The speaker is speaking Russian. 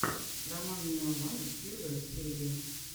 роман милованов первая серия